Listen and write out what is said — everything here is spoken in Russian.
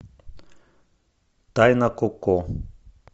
тайна коко